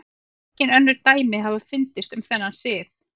Engin önnur dæmi hafa fundist um þennan sið.